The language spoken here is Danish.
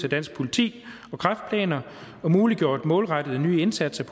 af dansk politi og kræftplaner og muliggjort målrettede nye indsatser